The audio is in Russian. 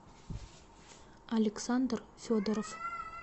александр федоров